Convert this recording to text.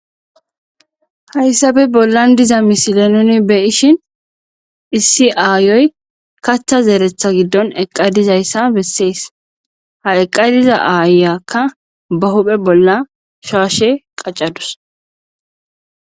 haysappe bollan diza misile nuni beyishin issi aayoy kaththa zeeretha giddon eqqa dizayssa besees ha eqqa diza aayakka ba huphe bolla shaashe qaccadus